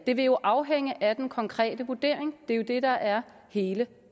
det vil jo afhænge af den konkrete vurdering det er jo det der er hele